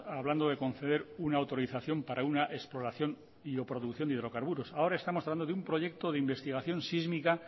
hablando de conceder una autorización para una exploración y o producción de hidrocarburos ahora estamos hablando de un proyecto de investigación sísmica